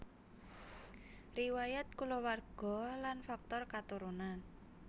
Riwayat kulawarga lan faktor katurunan